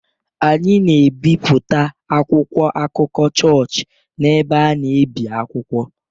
Anyị na-ebipụta akwụkwọ akụkọ chọọchị n’ebe a na-ebi akwụkwọ.